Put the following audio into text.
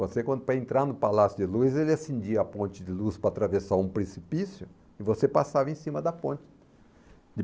Para você para entrar no Palácio de Luz, ele acendia a ponte de luz para atravessar um precipício e você passava em cima da ponte.